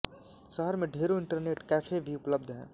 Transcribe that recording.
शहर में ढेरों इंटरनेट कैफ़े भी उपलब्ध हैं